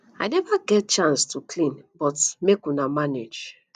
i never get chance to clean but make una manage